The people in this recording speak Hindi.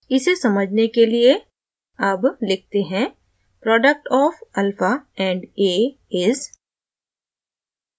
इसे समझने के लिए अब लिखते हैं product of $\alpha and a is